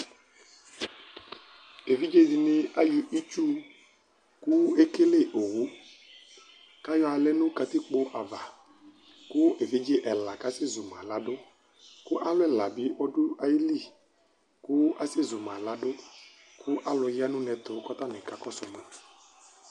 evidze dini ayɔ itsu ko ekele owu kayɔ alɛ no katikpo ava ko evidze ɛla kasɛ zumalado ko alo ɛla bi do ayili ko asɛ zumalado ko alo ya no uneɛto ko atani ka kɔso ma